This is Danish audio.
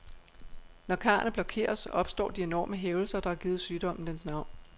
Når karrene blokeres, opstår de enorme hævelser, der har givet sygdommen dens navn.